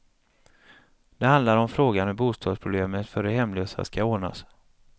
Det handlar om frågan hur bostadsproblemet för de hemlösa ska ordnas.